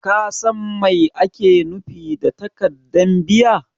Ka San Mai ake nufi da takaddan biya?